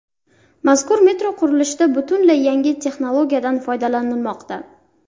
Mazkur metro qurilishida butunlay yangi texnologiyadan foydalanilmoqda.